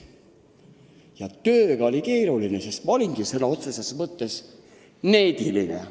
Ka tööga oli keeruline, sest ma olingi sõna otseses mõttes neediline.